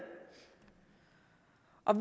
og